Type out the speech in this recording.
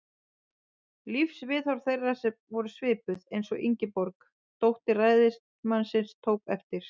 Lífsviðhorf þeirra voru svipuð, eins og Ingeborg, dóttir ræðismannsins, tók eftir.